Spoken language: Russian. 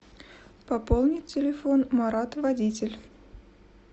пополнить телефон марат водитель